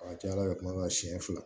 A ka ca ala fɛ kuma la siyɛn fila